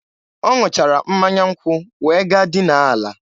Ọ ṅụchara mmanya nkwụ wee gaa dinaa ala.